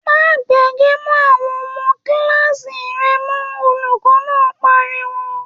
‘Má fe̩gè̩ mó̩ àwo̩n o̩mo̩ kíláàsì re̩ mó̩!’, Olùkó̩ náà pariwo